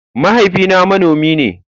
Mahaifina manomi ne.